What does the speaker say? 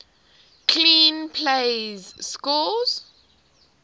clean plays score